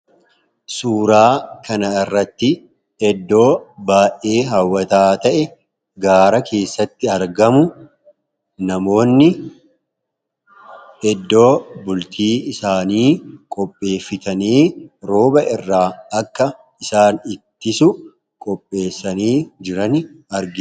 Suuraa kana irratti eddoo baay'ee haawwataa ta'e gaara keessatti argamu namoonni eddoo bultii isaanii qopheeffatanii rooba irraa akka isaan ittisu qopheessanii jiran argina.